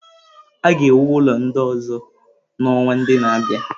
A ga-ewu ụlọ ndị ọzọ n'ọnwa ndị na-abịa.